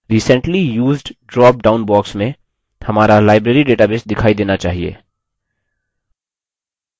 recently used drop down box में हमारा library database दिखाई देनी चाहिए